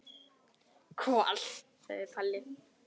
Kol, segir Palli.